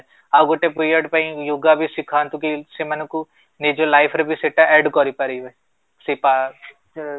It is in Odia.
ଆଉ ଗୋଟେ period ପାଇଁ yoga ବି ଶିଖାନ୍ତୁ କି ସେମାନଙ୍କୁ ନିଜ life ରେ ବି ସେଟା add କରିପାରିବେ ସେଟା